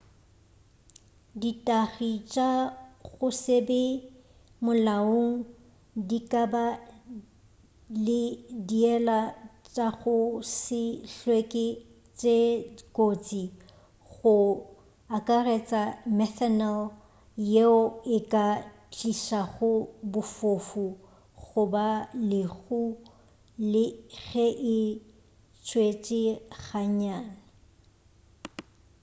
ditagi tša go se be molaong di ka ba le diela tša go se hlweke tše kotsi go akaretša methanol yeo e ka tlišago bofofu goba lehu le ge e tšetšwe gannyane